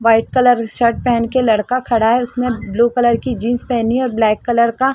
white colour shirt पेहन के लड़का खड़ा है उसने ब्लू कलर की जीन्स पेहनी है और ब्लैक कलर का--